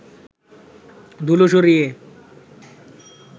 ধুলো সরিয়ে